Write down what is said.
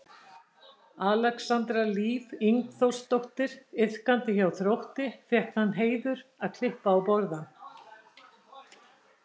Alexandra Líf Ingþórsdóttir iðkandi hjá Þrótti fékk þann heiður að klippa á borðann.